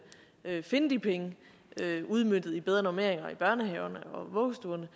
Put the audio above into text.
finde de penge udmøntet i bedre normeringer i børnehaverne og vuggestuerne